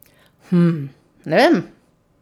Hm, ne vem.